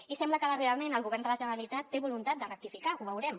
i sembla que darrerament el govern de la generalitat té voluntat de rectificar ho veurem